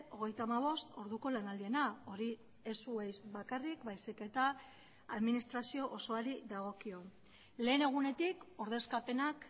hogeita hamabost orduko lanaldiena hori ez zuei bakarrik baizik eta administrazio osoari dagokio lehen egunetik ordezkapenak